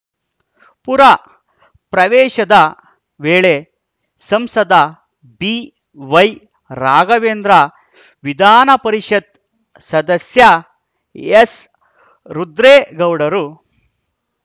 ಪುರ ಪ್ರವೇಶದ ವೇಳೆ ಸಂಸದ ಬಿವೈ ರಾಘವೇಂದ್ರ ವಿಧಾನಪರಿಷತ್‌ ಸದಸ್ಯ ಎಸ್‌ ರುದ್ರೇಗೌಡರು